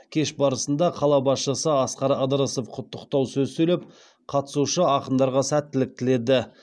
кеш барысында қала басшысы асқар ыдырысов құттықтау сөз сөйлеп қатысушы ақындарға сәттілік тіледі